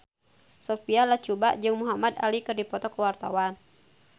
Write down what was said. Sophia Latjuba jeung Muhamad Ali keur dipoto ku wartawan